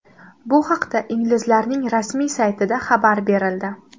Bu haqda inglizlarning rasmiy saytida xabar berildi .